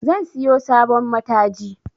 Zan siyo sabon mataji